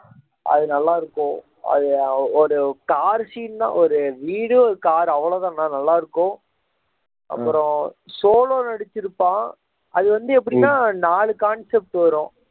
அது நல்லா இருக்கும் அது ஒரு car scene தான் ஒரு வீடு ஒரு car அவ்வளவுதான் ஆனால் நல்லா இருக்கும் அப்புறம் சோலோ நடிச்சிருப்பான் அது வந்து எப்படின்னா நாலு concept வரும்